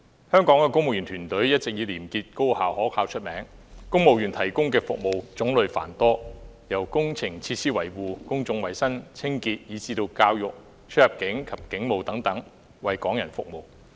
香港公務員團隊一直以廉潔、高效、可靠見稱，並且公務員為香港市民所提供的服務種類繁多，涵蓋工程設施維護、公眾衞生、教育、出入境事務及警務等多個範疇的工作。